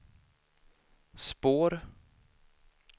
spår